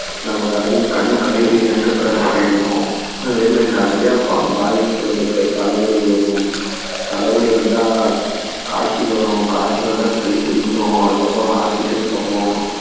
நம்ம கருவிழி கண் கருவிழி வந்து கருப்பா ஆகிரும் அதே மாதிரி நிறைய பாதிப்புகள் இருக்கு தலைவலி வரும் தலைவலி வந்தா காய்ச்சல் வரும் காய்ச்சல் வந்தா சளி புடிக்கும் அதுக்கப்பறம் hospital போவோம்